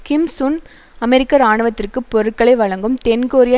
கிம் Sun அமெரிக்க இராணுவத்திற்கு பொருட்களை வழங்கும் தென்கொரியா